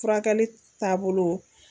Furakɛli taabolo